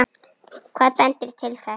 Hvað bendir til þess?